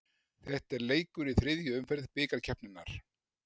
Þetta er leikur í þriðju umferð bikarkeppninnar.